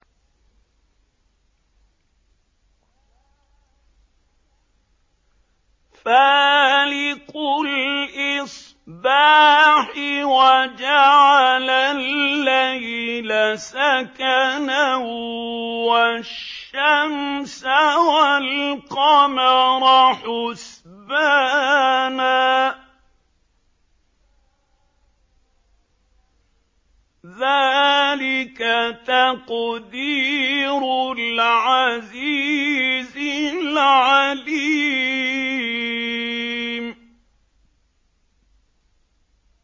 فَالِقُ الْإِصْبَاحِ وَجَعَلَ اللَّيْلَ سَكَنًا وَالشَّمْسَ وَالْقَمَرَ حُسْبَانًا ۚ ذَٰلِكَ تَقْدِيرُ الْعَزِيزِ الْعَلِيمِ